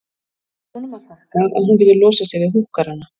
Það er honum að þakka að hún getur losað sig við húkkarana.